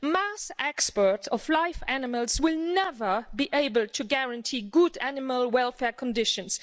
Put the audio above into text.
The mass export of live animals will never be able to guarantee good animal welfare conditions.